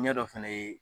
Ɲɛdɔ fɛnɛ ye